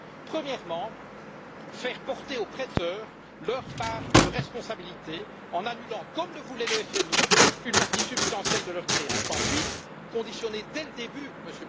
Premièrement, faire porter aux prêteurs leur part de responsabilité en annulant, comme le voulait le FMI, une partie substantielle de leurs créances. Deuxièmement, conditionner dès le début, M.